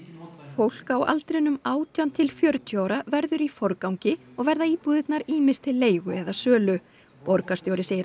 fólk á aldrinum átján til fjörutíu ára verður í forgangi og verða íbúðirnar ýmist til leigu eða sölu borgarstjóri segir